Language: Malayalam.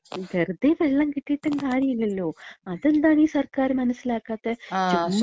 വെറ്തെ വെള്ളം കിട്ടീട്ടും കാര്യല്യല്ലോ. അതെന്താണീ സർക്കാര് മനസ്സിലാക്കാത്തെ. ചുമ്മാ,